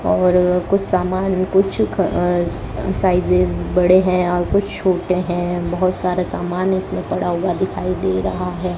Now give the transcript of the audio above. और कुछ सामान कुछ अह साइजस बड़े हैं और कुछ छोटे हैं बहुत सारे सामान इसमें पड़ा हुआ दिखाई दे रहा है।